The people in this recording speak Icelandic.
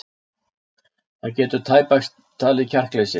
Það getur tæpast talist kjarkleysi.